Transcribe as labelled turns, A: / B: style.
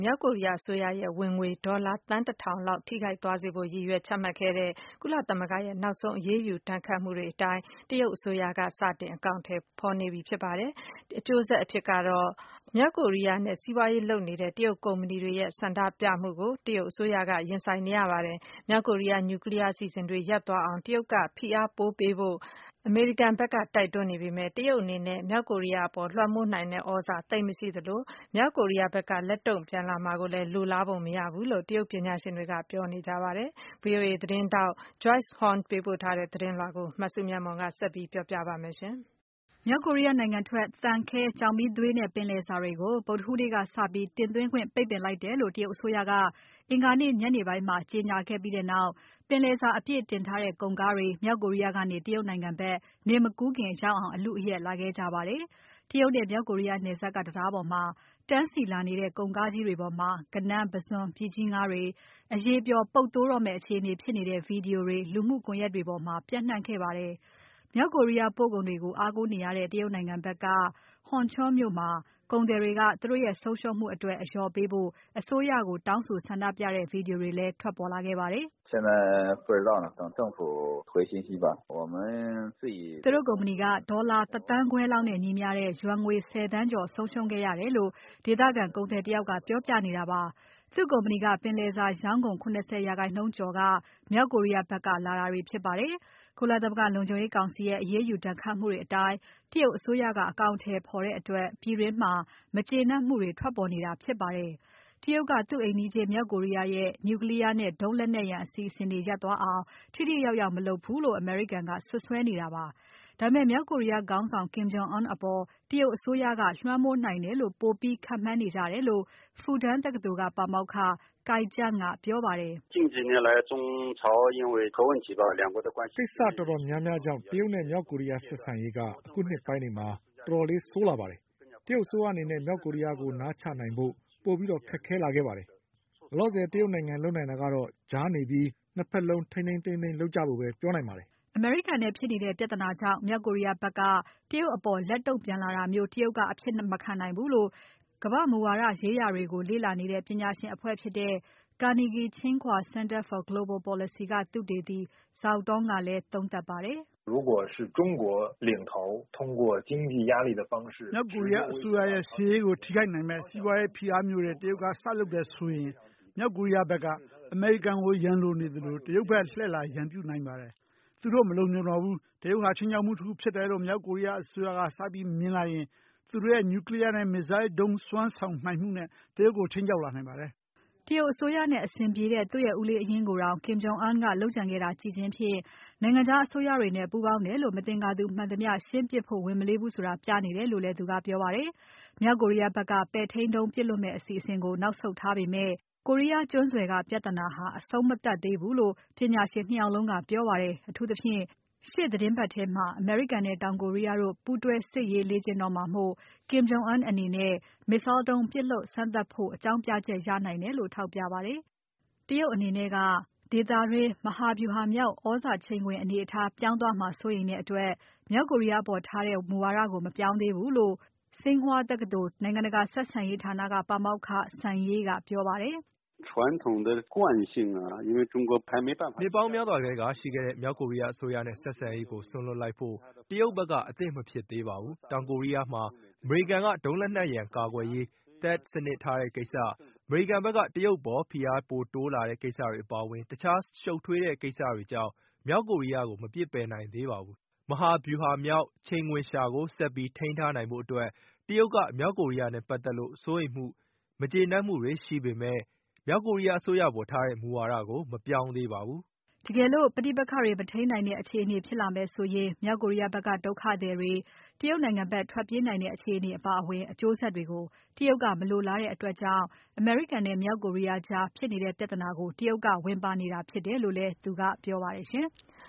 A: မြောက်ကိုရီးယားအစိုးရရဲ့ ဝင်ငွေဒေါ်လာသန်း ၁ ထောင်လောက် ထိခိုက်သွားစေဖို့ ရည်ရွယ်ချမှတ်ခဲ့တဲ့ ကုလသမဂ္ဂရဲ့နောက်ဆုံးအရေးယူ ဒဏ်ခတ်မှုတွေအတိုင်း တရုတ်အစိုးရက စတင်အကောင်အထည်ဖော်နေပါတယ်။ အကျိုးဆက်အဖြစ် မြောက်ကိုရီးယားနဲ့ စီးပွားရေးလုပ်နေတဲ့ တရုတ်ကုမ္ပဏီတွေရဲ့ ဆန္ဒပြမှုကို တရုတ်အစိုးရ ရင်ဆိုင်နေရပါတယ်။ မြောက်ကိုရီးယား Nuclear အစီအစဉ်တွေ ရပ်သွားအောင် တရုတ်ကဖိအားပိုပေးဖို့ အမေရိကန်ဖက်က တိုက်တွန်းနေပေမဲ့ တရုတ်အနေနဲ့ မြောက်ကိုရီးယားအပေါ် လွှမ်းမိုးနိုင်တဲ့သြဇာ သိပ်မရှိသလို မြောက်ကိုရီးယားဖက်က လက်တုံ့ပြန်လာမှာကိုလည်း လိုလားပုံမရဘူးလို့တရုတ်ပညာရှင်တွေက ပြောနေကြပါတယ်။ VOA သတင်းထောက် Joyce Huang ပေးပို့တဲ့သတင်းကို မစုမြတ်မွန်က ဆက်ပြောပြပါမယ်။ မြောက်ကို
B: ရီးယားနိုင်ငံထွက် သံ၊ ခဲ၊ ကျောက်မီးသွေးနဲ့ ပင်လယ်စာတွေကို ဗုဒ္ဓဟူးနေ့ကစပြီး တင်သွင်းခွင့် ပိတ်ပင်လိုက်တယ်လို့ တရုတ်အစိုးရက အင်္ဂါနေ့ညနေပိုင်းမှာ ကြေညာလိုက်ပြီးနောက် ပင်လယ်စာအပြည့်အတင်ထားတဲ့ ကုန်ကားတွေ မြောက်ကိုရီးယားကနေတရုတ်နိုင်ငံဖက် နေ့မကူးခင်ရောက်အောင် အလုအယက်လာခဲ့ကြပါတယ်။ တရုတ်နဲ့ မြောက်ကိုရီးယားနယ်စပ်က တံတားပေါ်မှာ တန်းစီလာနေကြတဲ့ ကုန်ကားကြီးတွေပေါ်မှာ ဂဏန်း၊ ပုဇွန်၊ ပြည်ကြီးငါးတွေ အရည်ပျော်။ ပုပ်သိုးတော့မယ့် အခြေအနေဖြစ်နေတဲ့ Video တွေ လူမှုကွန်ယက်တွေပေါ်မှာ ပျံ့နှံ့ခဲ့ပါတယ်။ မြောက်ကိုရီးယားပို့ကုန်တွေကို အားကိုးနေရတဲ့ တရုတ်နိုင်ငံဖက်က Hunchun မြို့မှာ ကုန်သည်တွေက သူတို့ရဲ့ဆုံးရှုံးမှုအတွက် အလျော်ပေးဖို့ အစိုးရကိုတောင်းဆိုဆန္ဒပြတဲ့ Video တွေလည်း ထွက်လာခဲ့ပါတယ်။
C: "သူတ
B: ို့ကုမ္ပဏီက ဒေါ်လာ ၁ သန်းခွဲလောက်နဲ့ညီမျှတဲ့ ယွမ်ငွေ ၁၀ သန်းကျော် ဆုံးရှုံးခဲ့ရတယ်"လို့ ဒေသခံကုန်သည်တယောက်က ပြောပြနေတာပါ။ သူ့ကုမ္ပဏီက ပင်လယ်စာရောင်းကုန် ၇၀% ကျော်က မြောက်ကိုရီယားဖက်က လာတာတွေဖြစ်ပါတယ်။ ကုလသမဂ္ဂလုံခြုံရေးကောင်စီရဲ့ အရေးယူဒဏ်ခတ်မှုတွေအတိုင်း တရုတ်အစိုးရက အကောင်အထည်ဖော်တဲ့အတွက် ပြည်တွင်းမှာ မကျေနပ်မှုတွေ ထွက်ပေါ်နေတာဖြစ်ပါတယ်။ တရုတ်ကသူ့အိမ်နီးချင်း မြောက်ကိုရီးယားရဲ့ Nuclear နဲ့ ဒုံးလက်နက် အစီအစဉ်တွေ ရပ်သွားအောင် ထိထိရောက်ရောက်မလုပ်ဘူးလို့ အမေရိကန်က စွပ်စွဲနေတာပါ။ ဒါပေမဲ့ မြောက်ကိုရီးယားခေါင်းဆောင် Kim Jong Un အပေါ် တရုတ်အစိုးရက လွှမ်းမိုးနိုင်တယ်လို့ ပိုပြီးခန့်မှန်းနေကြတယ်လို့ Fudan တက္ကသိုလ်က ပါမောက္ခ Cai Jian ကပြောပါတယ်။ "ကိစ္စတော်တော်များများကြောင့် တရုတ်နဲ့မြောက်ကိုရီးယားဆက်ဆံရေးက အခုနှစ်ပိုင်းတွေမှာ
C: တော်တော်လေး ဆိုးလာပါတယ်။ တရုတ်အစိုးရအနေနဲ့ မြောက်ကိုရီးယားကို နားချနိုင်ဖို့ ပိုပိုပြီးခက်ခဲလာခဲ့ပါတယ်။ လောလောဆယ် တရုတ်လုပ်နိုင်တာကတော့ ကြားနေပြီး ၂ ဖက်လုံး ထိန်းထိန်းသိမ်းသိမ်းလုပ်ကြဖို့ပဲ ပြောနိုင်ပါတယ်။
B: " အမေရိကန်နဲ့ဖြစ်နေတဲ့ ပြဿနာကြောင့် မြောက်ကိုရီးယားဖက်က တရုတ်အပေါ် လက်တုံ့ပြန်လာတာမျိုး တရုတ်ကအဖြစ်မခံနိုင်ဘူးလို့ ကမ္ဘာ့မူဝါဒရေးရာတွေကို လေ့လာနေတဲ့ ပညာရှင်အဖွဲ့ Carnegie–Tsinghua Center for Global Policy က သုတေသီ Zhao Tong ကလည်းသုံးသပ်ပါတယ်။
C: "မြောက်ကိုရီးယားအစိုးရရဲ့ ရှေ့ရေးကိုထိခိုက်နိုင်မယ့် စီးပွားရေးဖိအားမျိုးတွေ တရုတ်က စလုပ်တယ်ဆိုရင် မြောက်ကိုရီးယားဖက်က အမေရိကန်ကိုရန်လိုနေသလို တရုတ်ဖက်လှည့်လာ ရန်ပြုနိုင်ပါတယ်။ သူတို့မလုံခြုံတော့ဘူး။ တရုတ်ဟာ ခြိမ်းခြောက်မှုတခုလို့ မြောက်ကိုရီးယားအစိုးရက စပြီးမြင်လာရင် သူတို့ရဲ့ Nuclear နဲ့ Missile ဒုံးစွမ်းဆောင်နိုင်မှုနဲ့ု တရုတ်ကို ခြိမ်းမြောက်လာနို
B: င်ပါတယ်။" တရုတ်အစိုးရနဲ့အဆင်ပြေတဲ့ သူ့ရဲ့ဦးလေးအရင်းကိုတောင် Kim Jong Un ကလုပ်ကြံခဲ့တာကိုကြည့်ခြင်းဖြင့် နိုင်ငံခြားအစိုးရတွေနဲ့ ပူးပေါင်းတယ်လို့ မသင်္ကာသူမှန်သမျှ ရှင်းပစ်ဖို့ဝန်မလေးဘူးဆိုတာ ပြနေတယ်လို့လည်း သူကပြောပါတယ်။ မြောက်ကိုရီးယားဖက်က ပဲ့ထိန်းဒုံးပစ်လွှတ်မယ့်အစီအစဉ်ကို နောက်ဆုတ်ထားပေမဲ့ ကိုရီးယားကျွန်းဆွယ်က ပြဿနာဟာ အဆုံးမသတ်သေးဘူးလို့ ပညာရှင် ၂ ယောက်လုံးက ပြောပါတယ်။ အထူးသဖြင့် ရှေ့သီတင်းပါတ်ထဲမှာ အမေရိကန်နဲ့တောင်ကိုရီးယား တို့ ပူးတွဲစစ်ရေးလေ့ကျင့်တော့မှာမို့ Kim Jong Un အနေနဲ့ Missile ဒုံး ပြစ်လွှတ်စမ်းသပ်ဖို့ အကြောင်းပြချက်ရနိုင်တယ်လို့ ထောက်ပြပါတယ်။ တရုတ်အနေနဲ့က ဒေသတွင်း မဟာဗြူဟာမြောက် သြဇာချိန်ခွင် အနေအထားပြောင်း သွားမှာ စိုးရိမ်တဲ့အတွက် မြောက်ကိုရီးယားအပေါ်ထားတဲ့ မူဝါဒကို မပြောင်းသေးဘူးလို့ Tsinghua တက္ကသိုလ် နိုင်ငံတကာဆက်ဆံရေးဌာနက ပါမောက္ခ Sun Zhe ကပြောပါတယ်။ "
C: နှစ်ပေါင်းများစွာထဲကရှိခဲ့တဲ့ မြောက်ကိုရီးယားအစိုးရနဲ့ ဆက်ဆံရေးကို စွန့်လွှတ်လိုက်ဖို့ တရုတ်ဖက်က အသင့်မဖြစ်သေးပါဘူး။ တောင်ကိုရီးယားမှာ အမေရိကန်က ဒုံးလက်နက်ရန်ကာကွယ်ရေး THAAD စနစ်ထားတဲ့ကိစ္စ။ အမေရိကန်ဖက်က တရုတ်အပေါ် ဖိအားပိုတိုးလာတဲ့ ကိစ္စတွေအပါအဝင် တခြားရှုပ်ထွေးတဲ့ကိစ္စတွေကြောင့် မြောက်ကိုရီးယားကို မပစ်ပယ်နိုင်သေးပါဘူး။ မဟာဗြူဟာမြောက် ချိန်ခွင်လျှာကို ဆက်ပြီးထိန်းထားနိုင်ဖို့အတွက် တရုတ်က မြောက်ကိုရီးယားနဲ့ပါတ်သက်လို့ စိုးရိမ်မှု မကျေနပ်မှု တွေရှိပေမဲ့ မြောက်ကိုရီးယားအစိုးရအပေါ်ထားတဲ့ မူဝါဒကို မပြောင်းသေးပါဘူး။
B: " တကယ်လို့ ပဋိပက္ခတွေမထိန်းနိုင်တဲ့ အခြေအနေဖြစ်လာမယ်ဆိုရင် မြောက်ကိုရီးယားဖက်က ဒုက္ခသည်တွေ တရုတ်ဖက် ထွက်ပြေးလာနိုင်တဲ့ အခြေအနေအပါအဝင် အကျိုးဆက်တွေကို တရုတ်ကမလိုလားတဲ့အတွက်ကြောင့် အမေရိကန်နဲ့ မြောက်ကိုရီးယားကြား ဖြစ်နေတဲ့ပြဿနာကို တရုတ်ကဝင်ပါနေ တာဖြစ်တယ်လို့လည်း သူကပြောပါတယ်။